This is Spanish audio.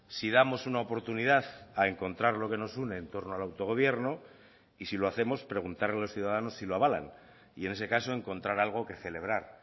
si damos una oportunidad a encontrar lo que nos une en torno al autogobierno y si lo hacemos preguntar a los ciudadanos si lo avalan y en ese caso encontrar algo que celebrar